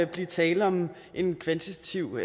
blive tale om en kvantitativ